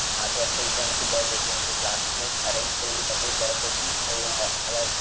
आठ वाजता इथे आमची बस होती म्हणजे क्लासनीच अरेंज केलेली सगळी बस होती आणि अ